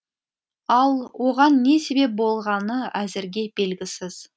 ал оған не себеп болғаны әзірге белгісіз